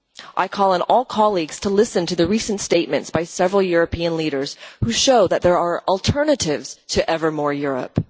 I call on all colleagues to listen to the recent statements by several European leaders who show that there are alternatives to ever more Europe.